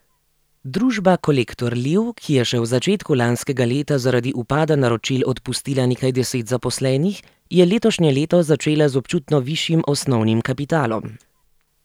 Družba Kolektor Liv, ki je še v začetku lanskega leta zaradi upada naročil odpustila nekaj deset zaposlenih, je letošnje leto začela z občutno višjim osnovnim kapitalom.